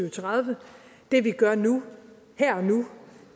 og tredive det vi gør nu her og nu